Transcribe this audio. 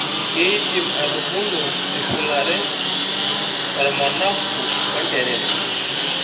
Keidimi aitubulu eshulare ormanagu onterere.